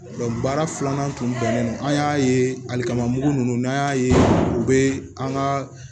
baara filanan tun bɛnnen don an y'a ye alikama mugu nunnu n'an y'a ye u be an ga